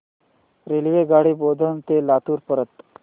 रेल्वेगाडी बोधन ते लातूर पर्यंत